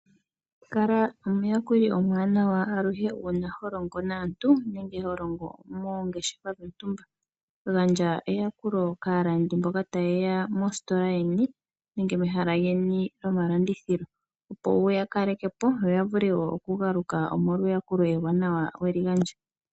Kala omuyakuli omwaa nawa aluhe uuna holongo naantu nenge uuna holongo moongeshefa dhontumba, gandja eyakulo kaalandi mboka ta yeya mositola yeni nenge mehala lyeni lyomalandithilo opo wuya kalekepo yo ya vule wo oku galuka omolwa eyakulo ewanawa weli gandja.